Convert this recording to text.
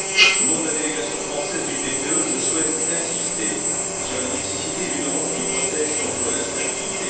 Au nom de la délégation française du PPE, je souhaite insister sur la nécessité d'une Europe qui protège contre l'instabilité.